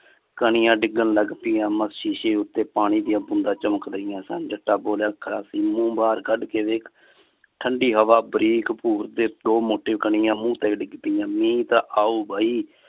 ਕਣੀਆਂ ਡਿਗਨ ਲੱਗ ਪਾਈਆਂ। ਮੈਂ ਸ਼ੀਸ਼ੇ ਉਤੇ ਪਾਣੀ ਦੀਆਂ ਬੂੰਦਾਂ ਚਮਕ ਰਹੀ ਆ ਸਨ। ਜੱਟਾ ਮੂੰਹ ਬਾਹਰ ਕੱਢ ਕੇ ਵੇਖ ਠੰਡੀ ਹਵਾ ਵਾਰਿਕ ਭੁਰ ਤੇ ਦੋ ਮੋਟੇ ਕਣੀਆਂ ਮੂੰਹ ਤੇ ਡਿੱਗ ਪਈਆਂ। ਮੀਹ ਤਾਂ ਆਊਗਾ ਹੀ